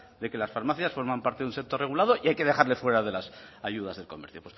de que las farmacias forman parte de un sector regulado y hay que dejarles fuera de las ayudas del comercio